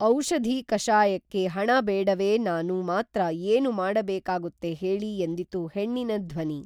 ಔಷಧಿ ಕಷಾಯಕ್ಕೇ ಹಣಬೇಡವೇ ನಾನು ಮಾತ್ರ ಏನು ಮಾಡೋಕಾಗುತ್ತೆ ಹೇಳಿ ಎಂದಿತು ಹೆಣ್ಣಿನ ಧ್ವನಿ